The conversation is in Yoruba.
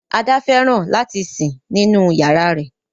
Ada fẹràn lati sin ninu yárà rẹ.